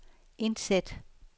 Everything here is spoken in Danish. indsæt